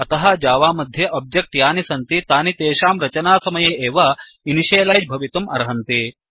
अतः जावामध्ये ओब्जेक्ट् यानि सन्ति तानि तेषां रचनासमये एव इनिशियलैज् भवितुम् अर्हन्ति